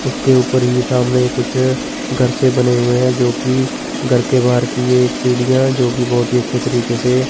उसके ऊपर ही सामने कुछ घर से बने हुए है जोकि घर के बाहर की ये एक सीढ़ियां जोकि बहोत ही अच्छे तरीके से--